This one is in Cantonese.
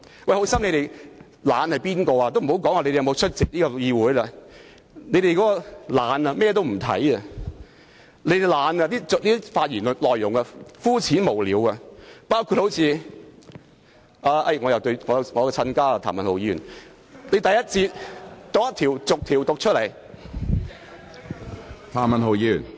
我且不說他們有否出席議會，他們懶得甚麼文件也不看，發言內容膚淺無聊，包括我的"親家"——譚文豪議員——他在第一節發言時竟逐一讀出每項修訂建議......